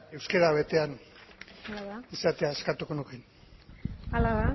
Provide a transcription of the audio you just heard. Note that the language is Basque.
euskara betean izatea eskatuko nuke hala